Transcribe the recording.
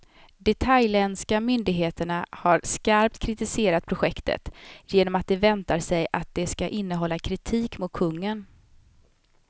De thailändska myndigheterna har skarpt kritiserat projektet, genom att de väntar sig att det ska innehålla kritik mot kungen.